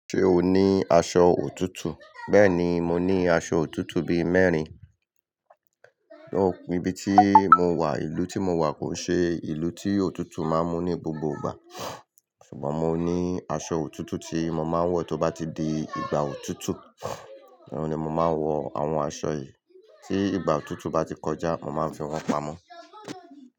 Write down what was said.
Ṣé o ní aṣọ òtútù? Bẹ́ẹ̀ni, mo ní aṣọ òtútù bí mẹ́rin, nibí tí mo wà, ìlú tí mo wà kò n ṣe ìlú tí òtútù máa mú ní gbogbo ìgbà. Ṣùgbọ́n mo ní aṣọ òtútù tí mo máa ń wọ̀, tó bá ti di ìgbà òtútù, ni mo máa ń wọ àwọn aṣọ yìí. Tí ìgbà òtútù bá ti kọjá, mo máa fi wọ́n pamọ́.